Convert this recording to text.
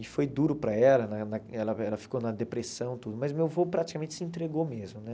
E foi duro para ela, na ela ela ficou na depressão tudo, mas meu avô praticamente se entregou mesmo, né?